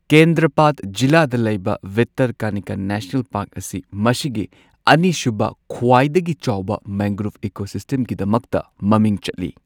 ꯀꯦꯟꯗ꯭ꯔꯄꯥꯗ ꯖꯤꯂꯥꯗꯥ ꯂꯩꯕ Bhitarkanika national park ꯑꯁꯤ ꯃꯁꯤꯒꯤ ꯑꯅꯤꯁꯨꯕ ꯈ꯭ꯋꯥꯏꯗꯒꯤ ꯆꯥꯎꯕ ꯃꯦꯡꯒ꯭ꯔꯣꯚ ꯏꯀꯣꯁꯤꯁꯇꯦꯝꯒꯤꯗꯃꯛꯇ ꯃꯃꯤꯡ ꯆꯠꯂꯤ꯫